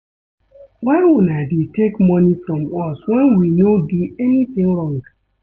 Why una dey take money from us wen we no do anything wrong